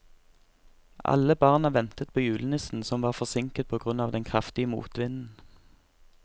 Alle barna ventet på julenissen, som var forsinket på grunn av den kraftige motvinden.